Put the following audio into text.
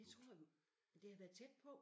Det tror du det har været tæt på